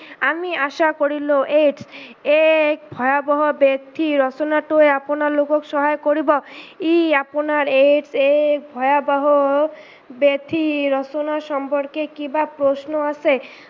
আমি আশা কৰি লও AIDS এক ভয়াবহ ব্যাধিৰ ৰচনাটোৱে আপোনালোকক সহায় কৰিব, ই আপোনাৰ AIDS এক ভয়াবহ ব্যাধি ৰচনা সম্পৰ্কে কিবা প্ৰশ্ন আছে?